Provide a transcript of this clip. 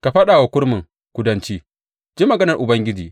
Ka faɗa wa kurmin kudanci, Ji maganar Ubangiji.